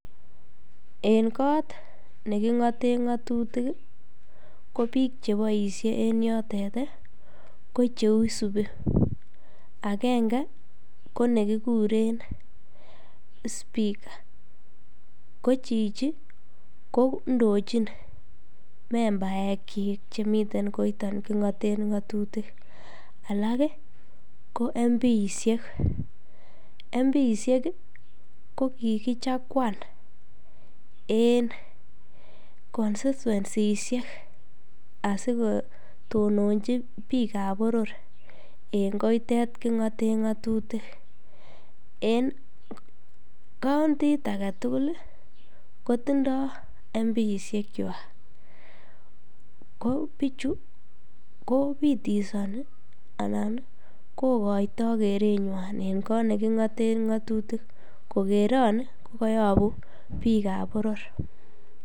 En kot ne king'ate ng'atutik i, ko piik che yae yatet i, ko piik che isupi ; agenge ko ne kikure speaker, ko chichi ko indochin membaekchik che miten koiton king'aten ng'atutik, alak ko MPshek. Mpshek ko ki kichaguan en konstituensishek asikotononchi piik ap poror en koitet king'aten ng'atutik. En kaontit age tugul i, ko tindai mpshekwak. Ko pichu ko pitidani anan kokaitai kerenwan en koot ne king'ate ng'atutik kokeran kokayapu piik ap poror.